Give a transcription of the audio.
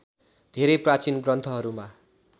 धेरै प्राचीन ग्रन्थहरूमा